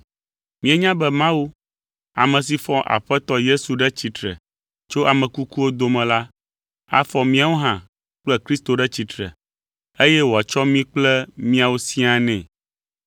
Míenya be Mawu, ame si fɔ Aƒetɔ Yesu ɖe tsitre tso ame kukuwo dome la afɔ míawo hã kple Kristo ɖe tsitre, eye wòatsɔ mí kple miawo siaa nɛ.